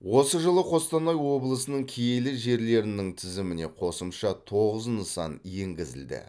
осы жылы қостанай облысының киелі жерлерінің тізіміне қосымша тоғыз нысан енгізілді